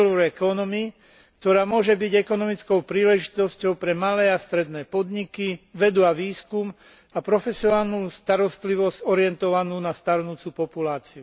silver economy, ktorá môže byť ekonomickou príležitosťou pre malé a stredné podniky, vedu a výskum a profesionálnu starostlivosť orientovanú na starnúcu populáciu.